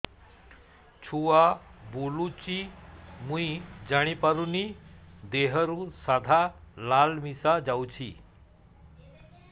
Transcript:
ଛୁଆ ବୁଲୁଚି ମୁଇ ଜାଣିପାରୁନି ଦେହରୁ ସାଧା ଲାଳ ମିଶା ଯାଉଚି